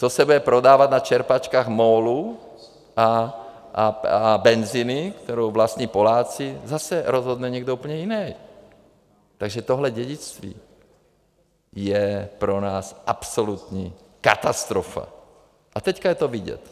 Co se bude prodávat na čerpačkách MOLu a Benziny, kterou vlastní Poláci, zase rozhodne někdo úplně jiný, takže tohle dědictví je pro nás absolutní katastrofa, a teď je to vidět.